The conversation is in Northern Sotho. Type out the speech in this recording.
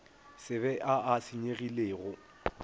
se be a a senyegilego